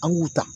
An y'u ta